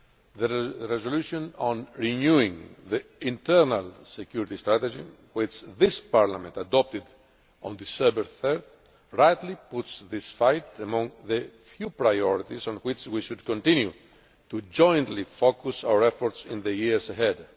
The resolution on renewing the internal security strategy, which this Parliament adopted on 3 December 2014, rightly puts this fight among the few priorities on which we should continue to focus our joint efforts in the years ahead.